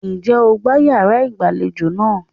Ǹjẹ́ o gbá yàrá ìgbàlejò náà?